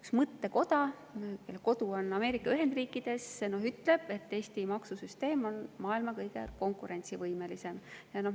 Üks mõttekoda, kelle kodu on Ameerika Ühendriikides, ütleb, et Eesti maksusüsteem on maailma kõige konkurentsivõimelisem.